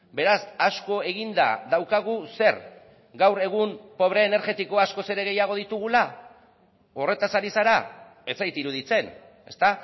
beraz asko eginda daukagu zer gaur egun pobre energetikoa askoz ere gehiago ditugula horretaz ari zara ez zait iruditzen ezta